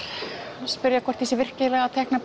spyrja hvort ég sé virkilega að teikna